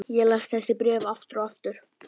Ég las þessi bréf aftur og aftur.